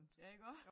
Ja iggå?